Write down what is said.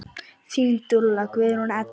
Þín dúlla, Guðrún Edda.